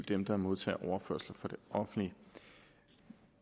dem der modtager overførsler fra det offentlige